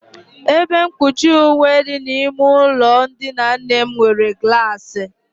Ebe mkpuchi uwe dị n'ime ụlọ ndina nne m nwere glaasị.